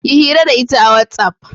Yi hira da ita a whatsapp.